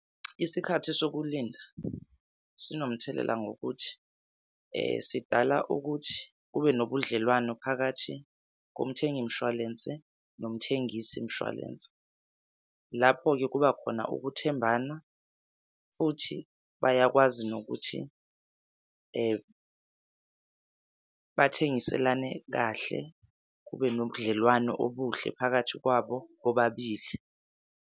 Isikhathi sokulinda sinomthelela ngokuthi, sidala ukuthi kube nobudlelwano phakathi komthengi mshwalense nomthengisi mshwalense. Lapho-ke kubakhona ukuthembana futhi bayakwazi nokuthi, bathengiselane kahle kube nobudlelwane obuhle phakathi kwabo bobabili.